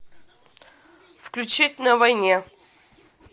включить на войне